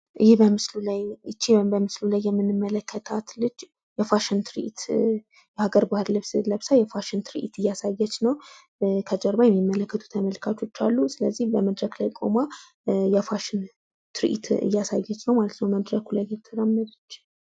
ይህ በምስሉ ላይ ይች በምስሉ ላይ የምንመለከታት ልጅ የፋሽን ትርዒት የአገር ባህል ልብስ ለብሳ የፋሽን ትርዒት እያሳየች ነው። ከጀርባ የሚመለከቱ ተመልካቾች አሉ። ስለዚህ በመድረክ ላይ ቁማ የፋሽን ትርዒት እያሳየች ነው ማለት ነው። በመድረኩ ላይ እየተራመደች።